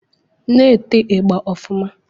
Na-ete ị̣gba ọfụma